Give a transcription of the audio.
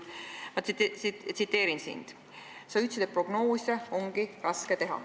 Ma tsiteerin sind: sa ütlesid, et prognoose ongi raske teha.